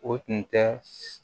O tun tɛ